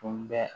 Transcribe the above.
Tun bɛ